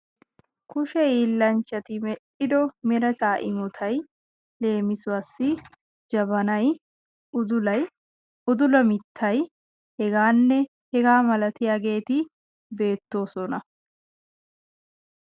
kushe hiillanchatti mel"ido meretaa imotay leemisuwaasi jabaanay udulay udula mittay hegaanne hegaa milatiyaageti beettoosona.